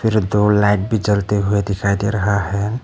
ये दो लाइट भी जलते हुए दिखाई दे रहा हैं।